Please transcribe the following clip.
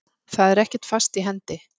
Það er ekkert fast í hendi.